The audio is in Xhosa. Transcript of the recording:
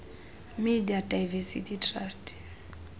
media diversity trust